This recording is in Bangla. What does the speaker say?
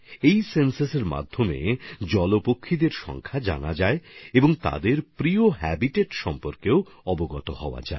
এই পক্ষীসুমারিতে এই জলপাখির সংখ্যা জানা যায় এবং তাদের পছন্দসই বাসস্থান সম্পর্কেও জানা যায়